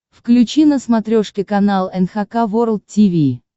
включи на смотрешке канал эн эйч кей волд ти ви